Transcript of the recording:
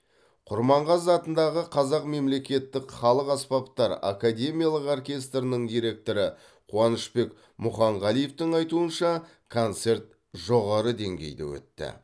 құрманғазы атындағы қазақ мемлекеттік халық аспаптары академиялық оркестрінің директоры қуанышбек мұханғалиевтің айтуынша концерт жоғары деңгейде өтті